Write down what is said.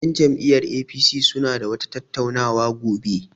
Yan jam'iyyar APC suna da wata tattauna wa gobe.